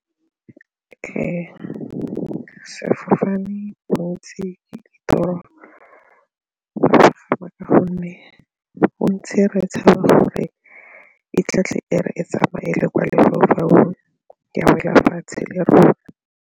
Ke sfofane, bontsi ka gonne bontsi re tshaba gore e e re e tsamaele kwa lefaufaung ya wela fatshe le rona.